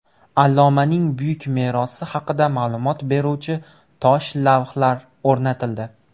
Allomaning buyuk merosi haqida ma’lumot beruvchi tosh lavhlar o‘rnatildi.